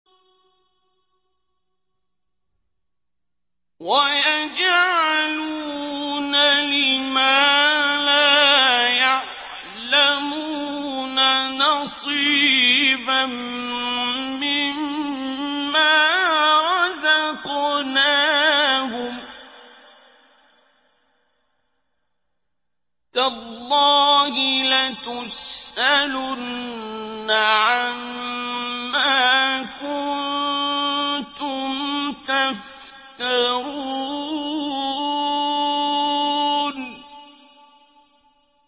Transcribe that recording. وَيَجْعَلُونَ لِمَا لَا يَعْلَمُونَ نَصِيبًا مِّمَّا رَزَقْنَاهُمْ ۗ تَاللَّهِ لَتُسْأَلُنَّ عَمَّا كُنتُمْ تَفْتَرُونَ